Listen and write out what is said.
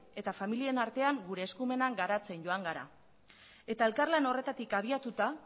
eta familien artean gure eskumenean garatzen joan gara eta elkarlan horretatik abiatuta